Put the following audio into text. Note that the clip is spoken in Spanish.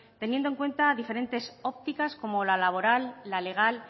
teniendo en cuenta diferentes ópticas como la laboral la legal